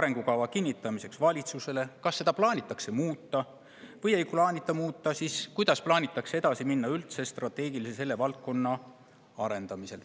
arengukava kinnitamiseks valitsusele, kas seda plaanitakse muuta või kui ei plaanita muuta, siis kuidas plaanitakse üldse edasi minna strateegiliselt selle valdkonna arendamisel.